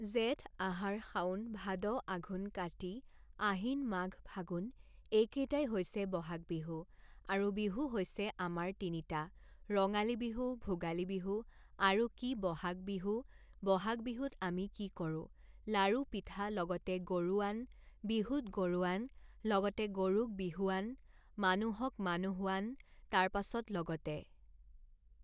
জেঠ আহাৰ শাওণ ভাদ আঘোণ কাতি আহিন মাঘ ফাগুন এইকেইটাই হৈছে বহাগ বিহু আৰু বিহু হৈছে আমৰ তিনিটা ৰঙালী বিহু ভোগালী বিহু আৰু কি বহাগ বিহু বহাগ বিহুত আমি কি কৰোঁ লাড়ু পিঠা লগতে গৰুৱান বিহুত গৰুৱান লগতে গৰুক বিহুৱান মানুহক মানুহৱান তাৰপাছত লগতে